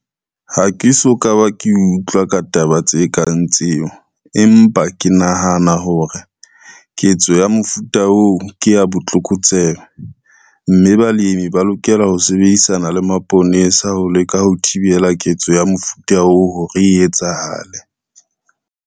Ha ke so ka ba ke utlwa ka taba tse kang tseo, empa ke nahana hore ketso ya mofuta oo ke ya botlokotsebe, mme balemi ba lokela ho sebedisana le maponesa ho leka ho thibela ketso ya mofuta oo hore e etsahale.